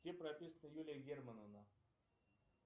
где прописана юлия германовна